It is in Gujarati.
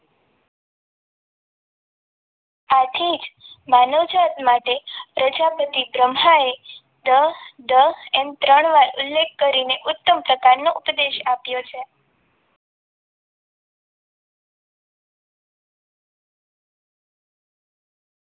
એ જ માનવ જાત માટે પ્રજાપતિ બ્રહ્માએ દ દ એમ ત્રણ વાર ઉલ્લેખ કર્યો ઉત્તમ પ્રકારનો ઉપદેશ આપ્યો છે.